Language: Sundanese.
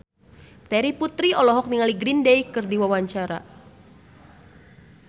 Terry Putri olohok ningali Green Day keur diwawancara